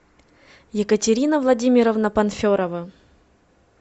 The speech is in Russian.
екатерина владимировна панферова